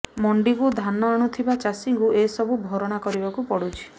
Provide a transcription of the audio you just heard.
ମଣ୍ଡିକୁ ଧାନ ଆଣୁଥିବା ଚାଷୀକୁ ଏ ସବୁ ଭରଣା କରିବାକୁ ପଡୁଛି